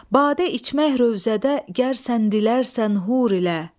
Badə içmə rovzədə gər sən dilərsən hur ilə.